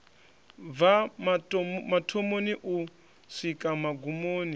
bva mathomoni u swika magumoni